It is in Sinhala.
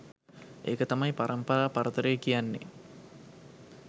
ඒක තමයි පරම්පරා පරතරය කියන්නේ!